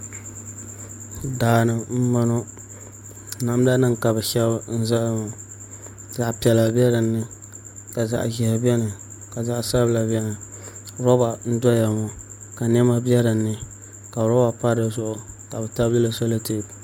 Daani n bɔŋɔ namda nim ka bi shɛbi n zali ŋɔ zaɣ piɛla bɛ dinni ka zaɣ ʒiɛhi biɛni ka zaɣ sabila biɛni roba n doya ŋɔ ka niɛma bɛ dinni ka roba pa dizuɣu ka bi tabilili solɛtɛp